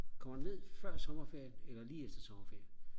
kommer ned før sommerferien eller lige efter sommerferien